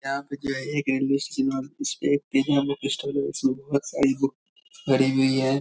यहाँ पे जो है एक रेलवे स्टेशन है और उसपे एक प्रीमियम बुक स्टोर है उसमे एक बहुत सारी बुक भरी हुई है।